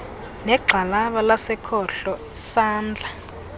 negxalaba lasekhohlo isandla